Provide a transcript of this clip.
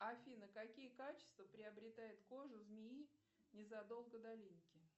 афина какие качества приобретает кожа змеи незадолго до линьки